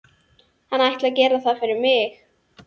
Hann ætli að gera það fyrir mig.